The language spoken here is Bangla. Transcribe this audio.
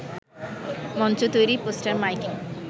মঞ্চ তৈরি, পোস্টার, মাইকিং